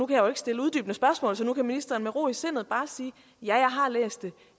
kan jo ikke stille uddybende spørgsmål så nu kan ministeren med ro i sindet bare sige ja jeg har læst det